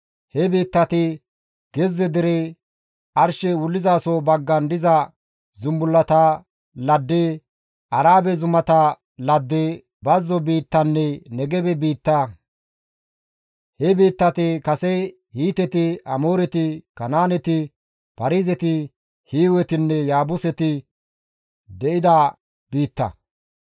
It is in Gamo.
He biittati, gezze dere, arshey wullizaso baggan diza zumbullata ladde, Arabe zumata ladde, bazzo biittanne Negebe biitta. He biittati kase Hiiteti, Amooreti, Kanaaneti, Paarizeti, Hiiwetinne Yaabuseti de7iza biitta.